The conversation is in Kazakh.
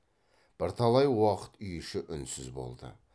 бірталай уақыт үй іші үнсіз болды